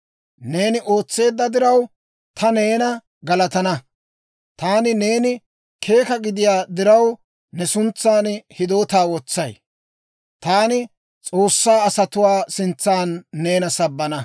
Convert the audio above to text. Neeni ootseedda diraw, Ta neena galatana, taani neeni keeka gidiyaa diraw ne suntsaan hidootaa wotsay. Taani S'oossaa asatuwaa sintsan neena sabbana.